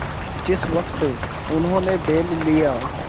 जिस वक्त उन्होंने बैल लिया